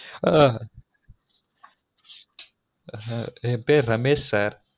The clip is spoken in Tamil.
அ அ என் பேரு ரமெஷ sir